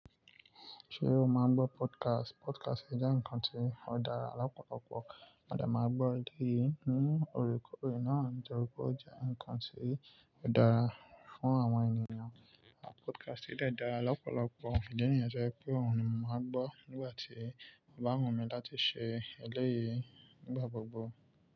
Ṣé o máa ń gbọ́ podcast? Podcast jẹ́ ǹkan tí ó dára lọ́pọ̀lọpọ̀. Mo de maa gbọ́ eré yìí ni órekore náà nitọrípé ó jẹ́ ǹkan tí ó dára fún àwọn ènìyàn. Podcast yìí de dára lọ́pọ̀lọpọ̀. Ìdí nìyẹ to jẹ́ pé òun ni mò ma ń gbọ́ nígbà tí o bá wù mí láti ṣe eleyìí nígbà gbogbo.